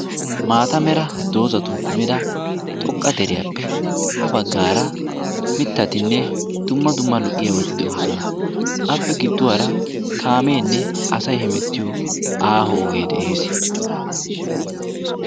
Maata meraa doozatun kummidi xoqqa deriyappe ha baggaara mittatinne dumma dumma lo"iyaabati de"oosona. Appe gidduwaara kaamenne asay hemettiyo aaho oge de'ees.